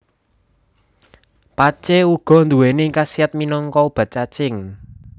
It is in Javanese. Pacé uga nduwèni kasiyat minangka obat cacing